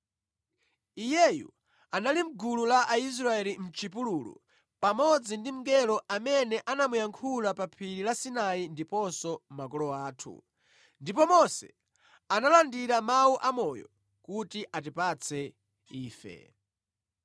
Iyeyu anali mʼgulu la Aisraeli mʼchipululu pamodzi ndi mngelo amene anamuyankhula pa phiri la Sinai ndiponso makolo athu; ndipo Mose analandira mawu amoyo kuti atipatse ife.